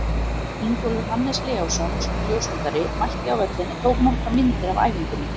Ingólfur Hannes Leósson, ljósmyndari, mætti á völlinn og tók nokkrar myndir af æfingunni.